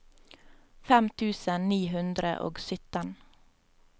fem tusen ni hundre og sytten